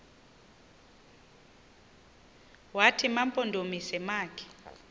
wathi mampondomise makhe